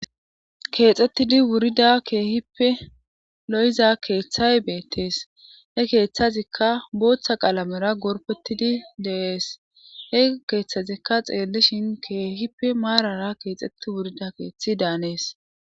Keexxettidi wurida keehippe lo'iza keeththay beettees he keeththazikka booththa qaalamera gorpetidi deees he keeththazikka xeellishin keehippe maarara keexxetti wurida keeththi daanees.